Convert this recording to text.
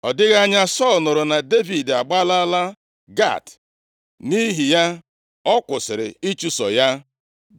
Ọ dịghị anya, Sọl nụrụ na Devid agbalaala Gat, nʼihi ya ọ kwụsịrị ịchụso ya.